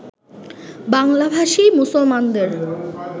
বাংলাভাষী মুসলমানদের